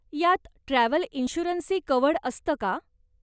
यात ट्रॅव्हल इन्शुरन्सही कव्हर्ड असतं का?